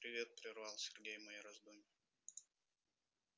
привет прервал сергей мои раздумья